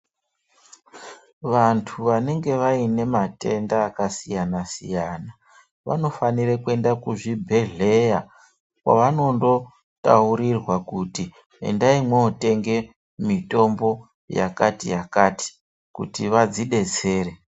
Vantu vanenge vaine matenda akasiyana-siyana vanofana kuenda kuzvibhedhlera kwavanondotaurirwa kuti endai mwotenga mitombo yakati yakati kuti vazvidetsere.